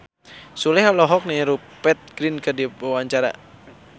Sule olohok ningali Rupert Grin keur diwawancara